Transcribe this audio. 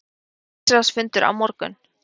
Ríkisráðsfundur á morgun